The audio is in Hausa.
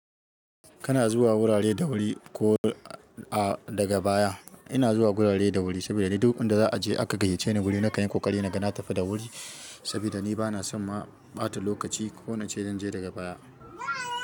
Kana zuwa wurare da wuri ko ah daga baya. Ina zuwa gurare da wuri sabida ni duk inda za a je aka gayyace ni wuri nakan yi ƙoƙari naga na tafi da wuri sabida ni bana son ma ɓata lokaci ko nace zan je daga baya.